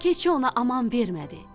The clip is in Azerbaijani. Keçi ona aman vermədi.